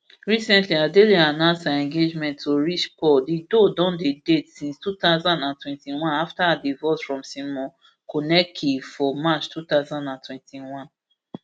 recently adele announce her engagement to rich paul di duo don dey date since two thousand and twenty-one afta her divorce from simon konecki for march two thousand and twenty-one